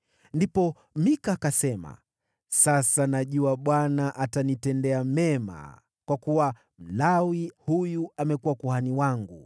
Ndipo Mika akasema, “Sasa najua Bwana atanitendea mema, kwa kuwa Mlawi huyu amekuwa kuhani wangu.”